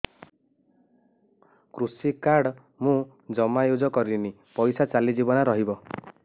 କୃଷି କାର୍ଡ ମୁଁ ଜମା ୟୁଜ଼ କରିନି ପଇସା ଚାଲିଯିବ ନା ରହିବ